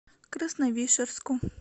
красновишерску